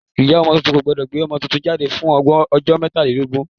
Ìyá ọmọ tuntun kò gbọ́dọ̀ gbé ọmọ tuntun jáde fún ọjọ́ mokanlelogoji.